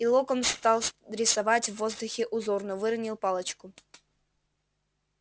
и локонс стал рисовать в воздухе узор но выронил палочку